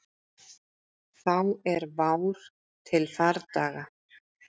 Þá er vár til fardaga.